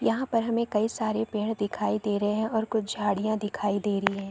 यहाँ पर हमें कई सारे पेड़ दिखाई दे रहै हैं और कुछ झाड़ियाँ दिखाई दे रही है।